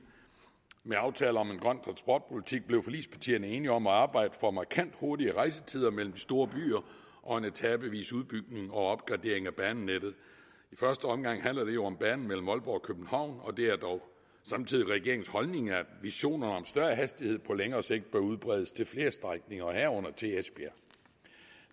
med aftale om en grøn transportpolitik blev forligspartierne enige om at arbejde for markant hurtigere rejsetider mellem de store byer og en etapevis udbygning og opgradering af banenettet i første omgang handler det om banen mellem aalborg og københavn og det er dog samtidig regeringens holdning at visionerne om større hastighed på længere sigt bør udbredes til flere strækninger herunder til esbjerg